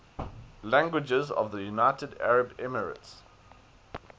languages of the united arab emirates